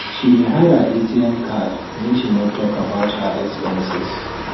she dey hide her atm card make she no talk about her expenses